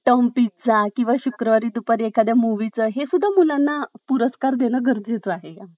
Term pizza किंवा शुक्रवारी दुपारी एखाद्या मूवी चा हे सुद्धा मुलांना देणं गरजेचं आहे .